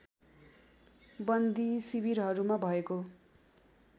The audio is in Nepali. बन्दी शिविरहरूमा भएको